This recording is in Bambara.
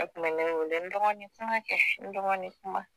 A kun be ne wele n dɔgɔnin kuma kɛ n dɔgɔnin kuma